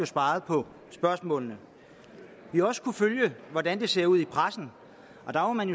svaret på spørgsmålene vi har også kunnet følge hvordan det ser ud i pressen og man